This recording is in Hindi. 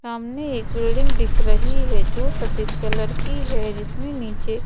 सामने एक बिल्डिंग दिख रही है जो सफेद कलर की है जिसमें नीचे--